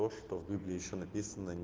то что в библии ещё написано не